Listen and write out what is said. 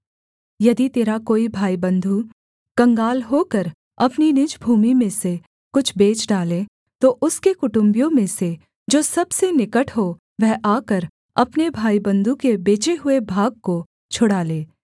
यदि तेरा कोई भाईबन्धु कंगाल होकर अपनी निज भूमि में से कुछ बेच डाले तो उसके कुटुम्बियों में से जो सबसे निकट हो वह आकर अपने भाईबन्धु के बेचे हुए भाग को छुड़ा ले